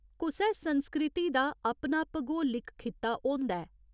कुसै संस्कृति दा अपना भगोलिक खित्ता होंदा ऐ।